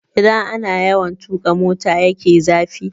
Idan ana yawan tuƙa motan ya ke zafi